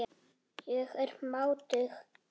Ég er máttug.